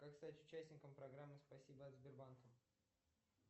как стать участником программы спасибо от сбербанка